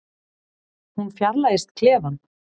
Hún fjarlægist klefann.